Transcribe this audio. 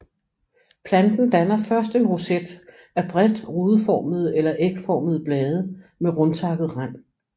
Planten danner først en roset af bredt rudeformede eller ægformede blade med rundtakket rand